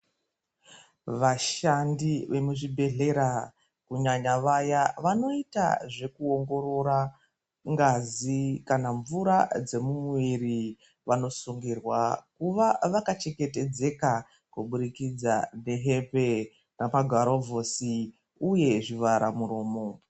Vashandi vemuzvibhedhlera kunyanya vaya vanoita zvekuongorora ngazi kana mvura dzemumuviri, vanosungirwa kuva vakachengetedzeka kuburikidza ngehembe nemagurovhosi uye zvivhara muromo.